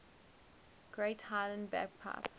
great highland bagpipe